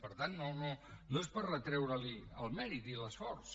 per tant no no és per retreureli el mèrit i l’esforç